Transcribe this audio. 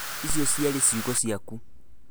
icio ciarĩ ciugo ciaku